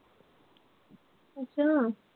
ਅੱਛਾ